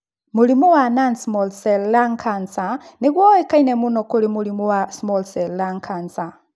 Mũrimũ wa Non small cell lung cancer nĩguo ũĩkaine mũno kũrĩ mũrimũ wa small cell lung cancer.